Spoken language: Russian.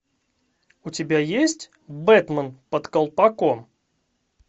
у тебя есть бэтмен под колпаком